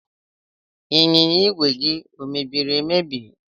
Ịnyịnya ìgwè gị ọ mebiri emebi?